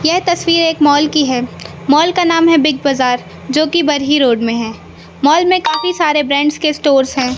यह तस्वीर एक मॉल की है माल का नाम है बिग बाजार जो की बरही रोड में है मॉल में काफी सारे ब्रांड्स के स्टोर्स हैं।